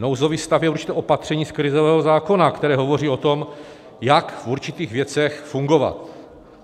Nouzový stav je určité opatření z krizového zákona, které hovoří o tom, jak v určitých věcech fungovat.